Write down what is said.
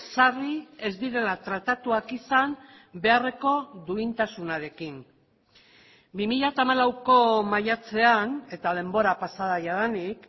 sarri ez direla tratatuak izan beharreko duintasunarekin bi mila hamalauko maiatzean eta denbora pasa da jadanik